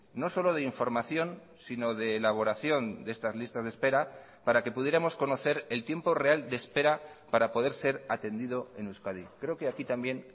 no solo de información sino de elaboración de estas listas de espera para que pudiéramos conocer el tiempo real de espera para poder ser atendido en euskadi creo que aquí también